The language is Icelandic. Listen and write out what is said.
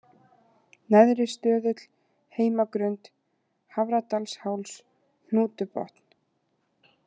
Neðri-Stöðull, Heimagrund, Hafradalsháls, Hnútubotn